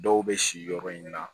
Dɔw bɛ si yɔrɔ in na